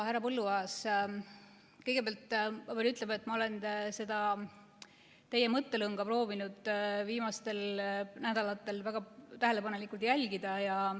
Härra Põlluaas, kõigepealt pean ütlema, et ma olen teie mõttelõnga proovinud viimastel nädalatel väga tähelepanelikult jälgida.